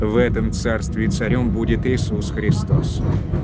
в этом царстве царём будет иисус христос